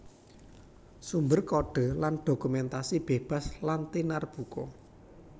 Sumber kodhe lan dokumentasi bebas lan tinarbuka